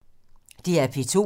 DR P2